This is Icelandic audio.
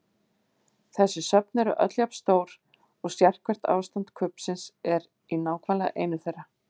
Þessi söfn eru öll jafn stór og sérhvert ástand kubbsins er í nákvæmlega einu þeirra.